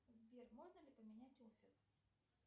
сбер можно ли поменять офис